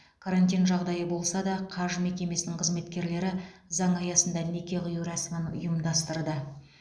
карантин жағдайы болса да қаж мекемесінің қызметкерлері заң аясында неке қию рәсімін ұйымдастырды